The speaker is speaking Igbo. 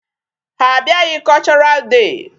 Ha abịaghị cultural day.